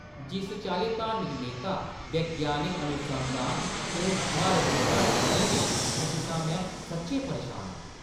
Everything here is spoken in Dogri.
जिस चाल्ली धार्मिक नेता वैज्ञानिक अनुसंधान ते म्हारत गी घट्ट समझा दे न, उस शा में सच्चैं परेशान आं।